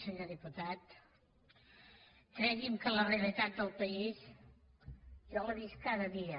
senyor diputat cregui’m que la realitat del país jo la visc cada dia